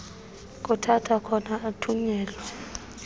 kuthathwa khona athunyelwe